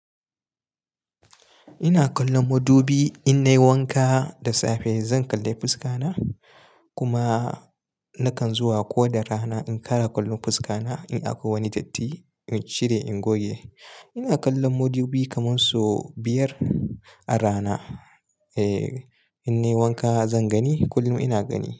Ina kallon madubi, in nayi wanka da safe zan kalla fuska na kuma nakan zuwa ko da rana in kara kallon fuska na in akwai wani datti in cire, in goge. Ina kallon madubi kaman sau biyar a rana. Eh, in nayi wanka zan gani. Kullum ina gani.